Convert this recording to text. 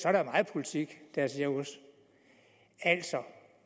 er der meget politik der er cirkus altså